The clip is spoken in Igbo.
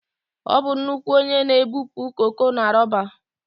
Ọ bụ nnukwu onye na-ebupụ koko na roba